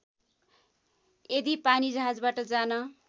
यदि पानीजहाजबाट जान